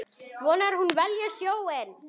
Vonar að hún velji sjóinn.